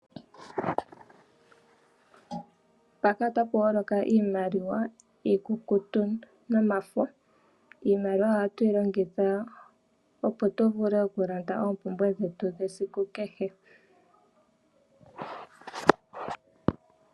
Mpaka ota pu holoka iimaliwa iikukutu nomafo. Iimaliwa ohatu yi longitha opo tu vule oku landa oompumbwe dhetu dhesiku kehe.